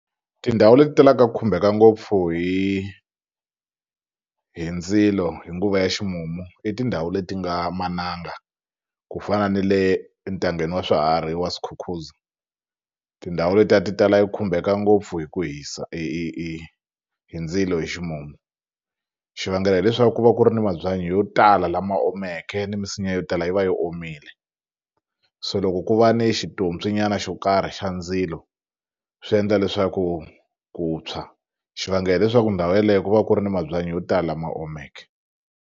Tindhawu leti talaka khumbeka ngopfu hi hi ndzilo hi nguva ya ximumu i tindhawu leti nga mananga ku fana ni le entangeni wa swiharhi wa Skukuza tindhawu letiya ti tala yi e khumbeka ngopfu hi ku hisa hi hi hi hi ndzilo hi ximumu xivangelo hileswaku ku va ku ri ni mabyanyi yo tala lama omeke ni minsinya yo tala yi va yi omile so loko ku va ni nyana xo karhi xa ndzilo swi endla leswaku ku tshwa xivangelo hileswaku ndhawu yeleyo ku va ku ri ni mabyanyi yo tala ma omeke.